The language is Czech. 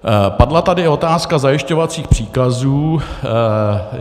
Padla tady otázka zajišťovacích příkazů.